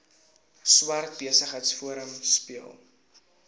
swart besigheidsforum speel